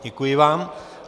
Děkuji vám.